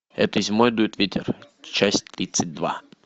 этой зимой дует ветер часть тридцать два